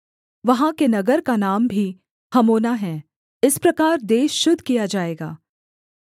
वहाँ के नगर का नाम भी हमोना है इस प्रकार देश शुद्ध किया जाएगा